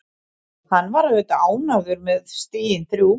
Hann var auðvitað ánægður með stigin þrjú.